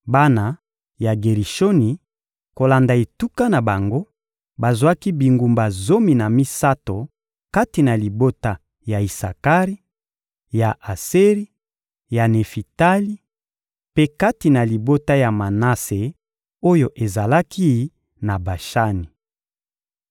Bana ya Gerishoni, kolanda etuka na bango, bazwaki bingumba zomi na misato kati na libota ya Isakari, ya Aseri, ya Nefitali mpe kati na libota ya Manase oyo ezalaki na Bashani.